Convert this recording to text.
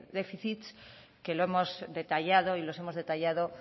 déficits que lo hemos detallado y los hemos detallado